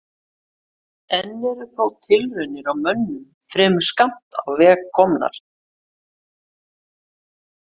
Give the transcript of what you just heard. Enn eru þó tilraunir á mönnum fremur skammt á veg komnar.